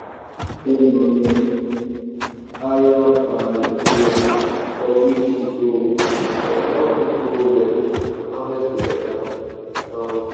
wen you spread manure ayer by layer for ridge e go um help root grow well and harvest go better. um